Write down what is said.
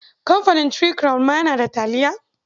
Kamfanin Three Crown ma yana da taliya.